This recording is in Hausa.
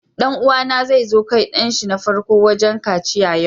Dan uwa na zai kai dan shi na farko wajen kaciya yau.